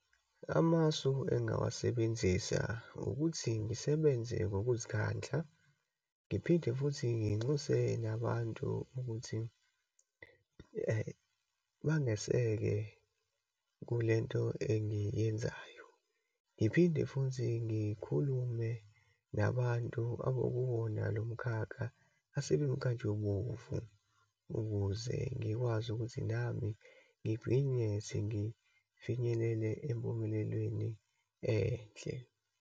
Amasu engingawasebenzisa, ukuthi ngisebenze ngokuzikhandla, ngiphinde futhi nginxuse nabantu ukuthi bangaseke kulento engiyenzayo. Ngiphinde futhi ngikhulume nabantu abokuwona lo mkhakha, asebemnkantshubomvu ukuze ngikwazi ukuthi nami ngigcine sengifinyelele empumelelweni enhle.